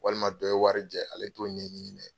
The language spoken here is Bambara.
Walima dɔ ye wari jɛn ale t'o ɲɛɲini dɛ.